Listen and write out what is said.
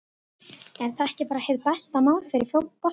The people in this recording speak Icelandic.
Er það ekki bara hið besta mál fyrir boltann?